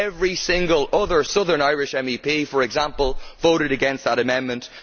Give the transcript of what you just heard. Every single other southern Irish MEP, for example, voted against that amendment.